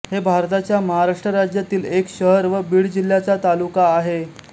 हे भारताच्या महाराष्ट्र राज्यातील एक शहर व बीड जिल्ह्याचा तालुका आहे